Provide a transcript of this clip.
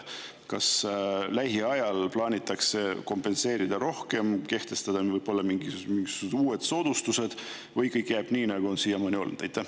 Kas lähiajal plaanitakse kompenseerida rohkem, kehtestada võib-olla mingisugused uued soodustused või kõik jääb nii, nagu on siiamaani olnud?